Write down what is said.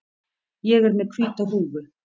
Ég er með hvíta húfu.